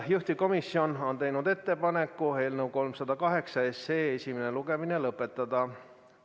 Juhtivkomisjon on teinud ettepaneku eelnõu 308 esimene lugemine lõpetada.